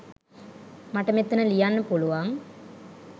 මට මෙතන ලියන්න පුළුවන්.